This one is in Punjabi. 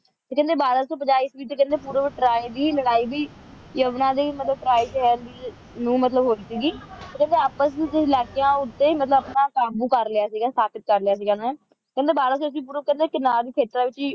ਕਹਿੰਦੇ ਤੇ ਬਾਰਾਂ ਸੌ ਪੰਜਾਹ ਇਸਵੀਂ ਵਿੱਚ ਪੂਰਵ ਟਰੋਈ ਦੀ ਲੜਾਈ ਵੀ ਯਮਨਾ ਦੀ ਮਤਲਬ ਟਰਾਈ ਨੂੰ ਮਤਲਬ ਹੋਈ ਸੀ ਉਨ੍ਹਾਂ ਆਪਸ ਵਿੱਚ ਹੀ ਮਤਲਬ ਲਾ ਕੇ ਕਾਬੂ ਕਰ ਲਿਆ ਸੀ ਮਤਲਬ ਸਥਾਪਿਤ ਕਰ ਲਿਆ ਸੀ ਇਨ੍ਹਾਂ ਨੇ ਤੇ ਕਹਿੰਦੇ ਬਾਰਾਂ ਸੌ ਇਸ ਪੂਰਵ ਕਹਿੰਦੇ ਕਿਨਾਰੇ ਦੇ ਖੇਤਰਾਂ ਵਿੱਚ ਵੀ